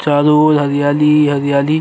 चारों ओर हरियाली ही हरियाली --